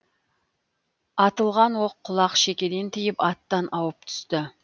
атылған оқ құлақ шекеден тиіп аттан ауып түсті